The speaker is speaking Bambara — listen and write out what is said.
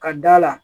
Ka d'a la